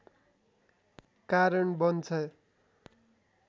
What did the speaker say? कारण बन्छ